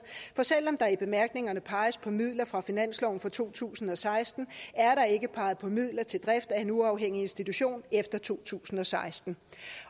for selv om der i bemærkningerne peges på midler fra finansloven for to tusind og seksten er der ikke peget på midler til drift af en uafhængig institution efter to tusind og seksten